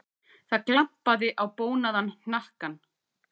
Það glampaði á bónaðan hnakkann.